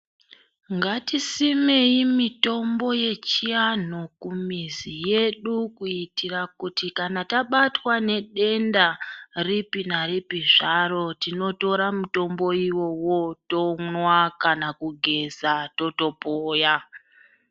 Ngatisimei mitombo yechiantu kumizi yedu. Kuitira kuti kana tabatwa nedenda ripi naripi zvaro tinotora mutombo ivovo tonwa kana kugeza totopoya.